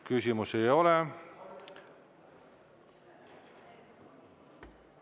Küsimusi ei ole.